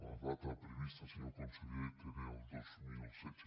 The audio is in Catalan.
la data prevista senyor conseller era el dos mil setze